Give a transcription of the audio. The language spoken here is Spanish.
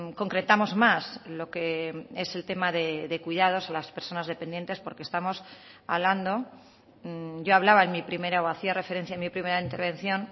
concretamos más lo que es el tema de cuidados a las personas dependientes porque estamos hablando yo hablaba en mi primera o hacía referencia en mi primera intervención